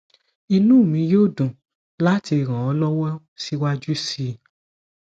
inú mi yóò dùn láti ràn ọ lọwọ síwájú sí i